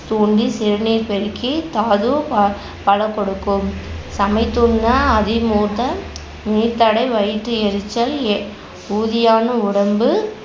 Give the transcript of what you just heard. தூண்டி சிறுநீர் பெருக்கி தாது பா~ பல கொடுக்கும் சமைத்துண்ண நீர்தடை வயிற்று எரிச்சல் எ~ ஊதியான உடம்பு